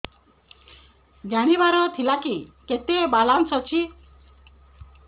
ଜାଣିବାର ଥିଲା କି କେତେ ବାଲାନ୍ସ ଅଛି